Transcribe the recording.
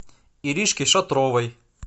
иришки шатровой